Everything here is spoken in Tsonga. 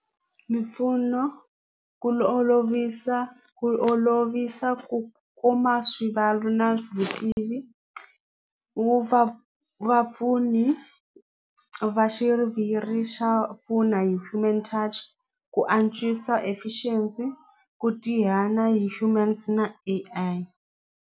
Mimpfuno ku olovisa ku olovisa ku kuma na vutivi wu va vapfuni va xiviri xa pfuna hi human touch ku antswisa efficiency ku hi humans na A_I.